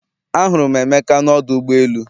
Ahụrụ m Emeka n’ọdụ ụgbọ elu